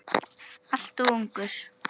Alltof ungur.